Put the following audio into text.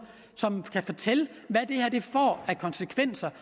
som kan fortælle hvilke konsekvenser